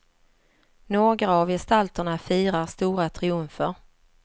Några av gestalterna firar stora triumfer.